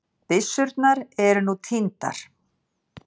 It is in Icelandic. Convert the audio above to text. Byssurnar eru nú týndar